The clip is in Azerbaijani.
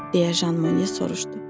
deyə Jean Monnet soruşdu.